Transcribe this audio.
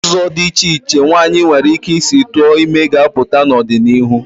Ụzọ dị iche iche nwaanyị nwere ike isi tụọ ime ga-apụta n'ọdịnihu.